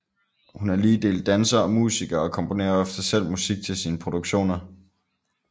Hun er lige dele danser og musiker og komponerer ofte selv musik til sine produktioner